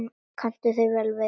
Hvernig kanntu við þig?